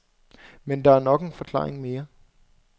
Men der er nok en forklaring mere.